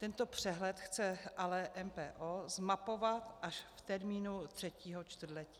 Tento přehled chce ale MPO zmapovat až v termínu třetího čtvrtletí.